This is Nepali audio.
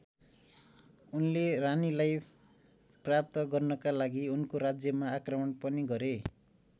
उनले रानीलाई प्राप्त गर्नका लागि उनको राज्यमा आक्रमण पनि गरे।